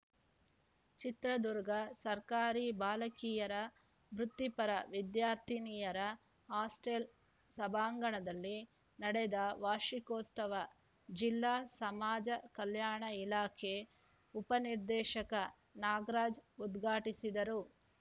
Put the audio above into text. ಚಿತ್ರದುರ್ಗ ಸರ್ಕಾರಿ ಬಾಲಕಿಯರ ವೃತ್ತಿಪರ ವಿದ್ಯಾರ್ಥಿನಿಯರ ಹಾಸ್ಟೆಲ್‌ ಸಭಾಂಗಣದಲ್ಲಿ ನಡೆದ ವಾರ್ಷಿಕೋತ್ಸವ ಜಿಲ್ಲಾ ಸಮಾಜ ಕಲ್ಯಾಣ ಇಲಾಖೆ ಉಪನಿರ್ದೇಶಕ ನಾಗರಾಜ್‌ ಉದ್ಘಾಟಿಸಿದರು